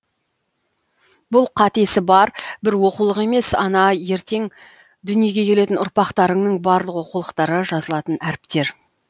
бұл қатесі бар бір оқулық емес ана ертең дүниеге келетін ұрпақтарыңның барлық оқулықтары жазылатын әріптер